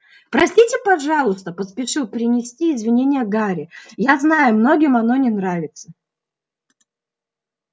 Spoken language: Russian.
простите пожалуйста поспешил принести извинение гарри я знаю многим оно не нравится